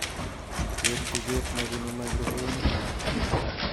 Ker tuget nebunu microfonti